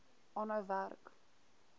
aanhou werk